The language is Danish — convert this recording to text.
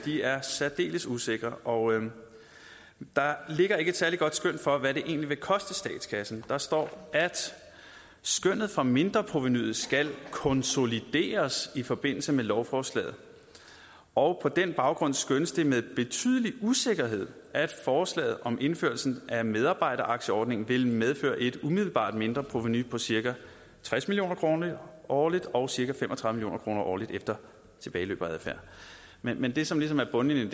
er særdeles usikre og der ligger ikke et særlig godt skøn for hvad det egentlig vil koste statskassen der står at skønnet for mindreprovenuet skal konsolideres i forbindelse med lovforslaget og på den baggrund skønnes det med betydelig usikkerhed at forslaget om indførelsen af medarbejderaktieordningen vil medføre et umiddelbart mindreprovenu på cirka tres million kroner årligt og cirka fem og tredive million kroner årligt efter tilbageløb og adfærd men men det som ligesom er bundlinjen